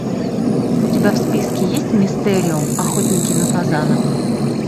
у тебя в списке есть мистериум охотники на фазанов